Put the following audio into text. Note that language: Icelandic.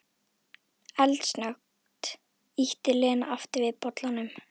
Eldsnöggt ýtti Lena aftur við bollanum.